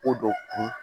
Ko dɔ kun